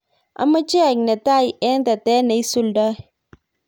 amoche aek netai eng tetet neisuldoi